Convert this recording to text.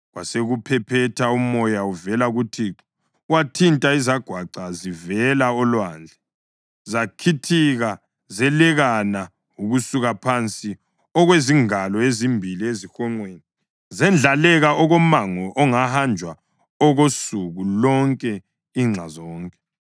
Kwasekuphephetha umoya uvela kuThixo wathinta izagwaca zivela olwandle. Zakhithika zelekana ukusuka phansi okwezingalo ezimbili ezihonqweni, zendlaleka okomango ongahanjwa okosuku lonke inxa zonke.